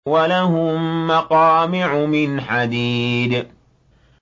وَلَهُم مَّقَامِعُ مِنْ حَدِيدٍ